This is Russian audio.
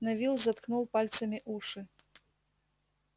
невилл заткнул пальцами уши